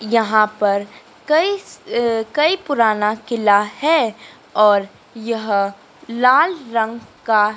यहां पर कई अह कई पुराना किला है और यह लाल रंग का --